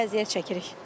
Belə əziyyət çəkirik.